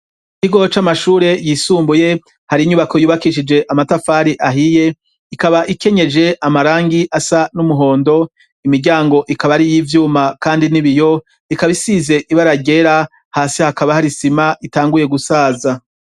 Ikigo c'amashure yisumbuye hari inyubako yubakishije amatafari ahiye ikaba ikenyeje amarangi asa n'umuhondo imiryango ikaba ari y'ivyuma kandi n'ibiyo ikaba isize ibaragera hasi hakaba hari sima itanguye gusaza.